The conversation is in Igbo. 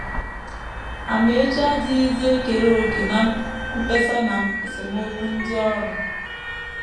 Amaechi adịghịzi ekere òkè ná mkpesa na esemokwu ndị ọrụ.